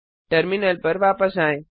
terminal पर वापस आएं